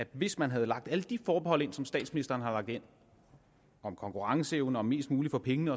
hvis man havde lagt alle de forbehold ind som statsministeren har lagt ind om konkurrenceevne og mest muligt for pengene